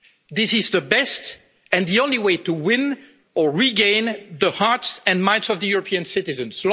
it. This is the best and the only way to win or regain the hearts and minds of the European citizens.